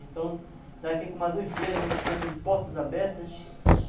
Então, daqui com mais uns dias, nós estamos de portas abertas.